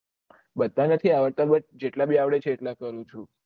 બધા નથી આવડતા પણ જેટલા ભી આવડે છે એટલા કરું છું